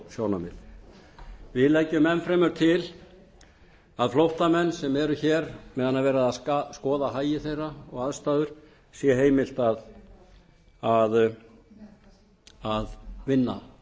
mannúðarsjónarmið við leggjum enn fremur til að flóttamönnum sem eru hér meðan er verið að skoða hagi þeirra og aðstæður sé heimilt að vinna